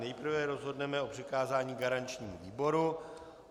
Nejprve rozhodneme o přikázání garančnímu výboru.